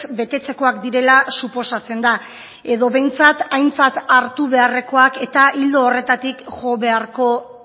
betetzekoak direla suposatzen da edo behintzat aintzat hartu beharrekoak eta ildo horretatik jo beharko